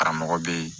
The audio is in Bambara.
Karamɔgɔ bɛ yen